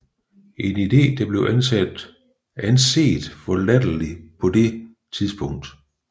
En idé der blev anset for latterlig på det tidspunkt